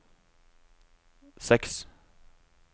seks